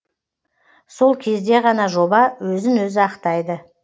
сол кезде ғана жоба өзін өзі ақтайды